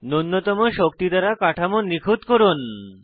নুন্যতম শক্তি দ্বারা কাঠামো নিখুত করুন